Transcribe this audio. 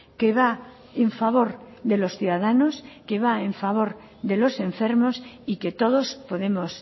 que va en favor de los ciudadanos que va en favor de los enfermos y que todos podemos